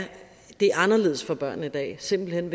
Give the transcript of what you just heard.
anderledes for børnene i dag simpelt hen